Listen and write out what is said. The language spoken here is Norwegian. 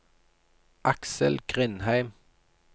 Aksel Grindheim